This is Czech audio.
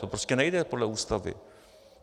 To prostě nejde podle Ústavy.